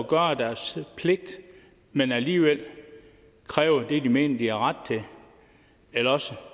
gøre deres pligt men alligevel kræver det de mener de har ret til eller også